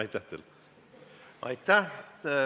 Aitäh teile!